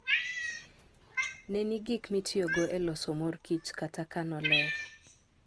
Ne ni gik mitiyogo e loso mor kich kata kano ler.